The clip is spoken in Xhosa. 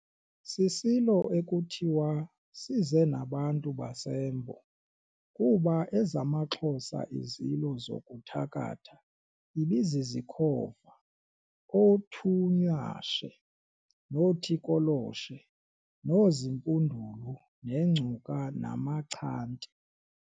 Sisilo ekuthiwa size nabantu baseMbo, kuba ezamaXhosa izilo zokuthakatha ibizizikhova oothunywashe, nothikoloshe noozimpundulu, nengcuka namachanti.